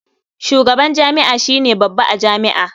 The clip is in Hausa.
Shugaban jami'a shi ne babba a jami'a.